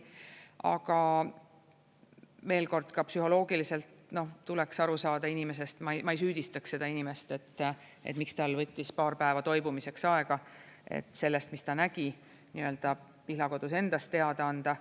Aga veel kord: ka psühholoogiliselt tuleks aru saada inimesest – ma ei süüdistaks seda inimest, et miks tal võttis paar päeva toimumiseks aega, et sellest, mis ta nägi, Pihlakodus endas teada anda.